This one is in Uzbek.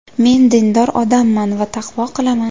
Men dindor odamman va taqvo qilaman.